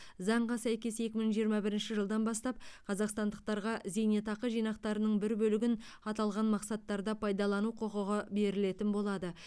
заңға сәйкес екі мың жиырма бірінші жылдан бастап қазақстандықтарға зейнетақы жинақтарының бір бөлігін аталған мақсаттарда пайдалану құқығы берілетін болады